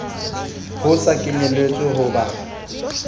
ho sa kenyelletswe ho ba